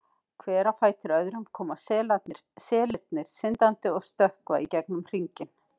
Hver á fætur öðrum koma selirnir syndandi og stökkva í gegnum hringinn.